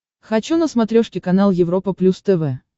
хочу на смотрешке канал европа плюс тв